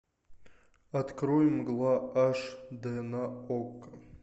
открой мгла аш дэ на окко